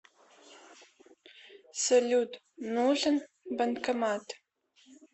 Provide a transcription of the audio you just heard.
салют нужен банкомат